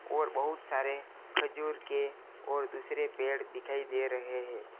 और बहुत सारे खजूर के और दूसरे पेड़ दिखाई दे रहे हैं।